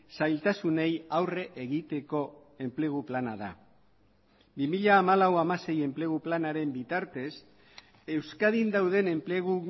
zailtasunei aurre egiteko enplegu plana da bi mila hamalau hamasei enplegu planaren bitartez euskadin dauden enplegu